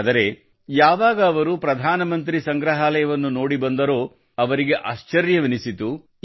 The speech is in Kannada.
ಆದರೆ ಯಾವಾಗ ಅವರು ಪ್ರಧಾನಮಂತ್ರಿ ಸಂಗ್ರಹಾಲಯವನ್ನು ನೋಡಿ ಬಂದರೋ ಅವರಿಗೆ ಆಶ್ಚರ್ಯವೆನಿಸಿತು